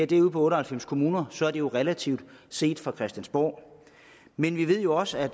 det ud på otte og halvfems kommuner så er det jo relativt lidt set fra christiansborg men vi ved jo også at